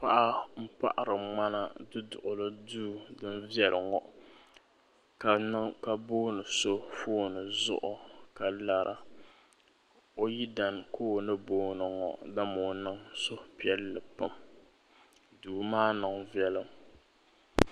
Paɣa n paɣiri ŋmana du duɣili duu din viɛlli ŋɔ ka booni so fooni zuɣu ka lara o yidana ka o ni booni ŋɔ dama o niŋ suhupiɛlli pam duu maa niŋ viɛlim.